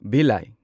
ꯚꯤꯂꯥꯢ